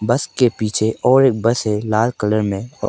बस के पीछे और एक बस है लाल कलर में--